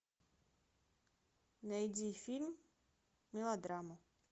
найди фильм мелодрама